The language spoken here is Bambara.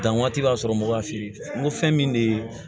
Dan waati b'a sɔrɔ mɔgɔ b'a feere n ko fɛn min de ye